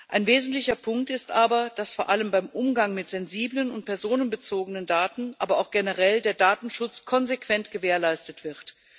Ein wesentlicher Punkt ist aber, dass vor allem beim Umgang mit sensiblen und personenbezogenen Daten auch generell der Datenschutz konsequent gewährleistet wird.